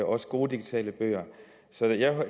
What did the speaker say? også gode digitale bøger så